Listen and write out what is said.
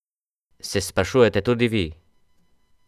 Se sprašujete tudi vi?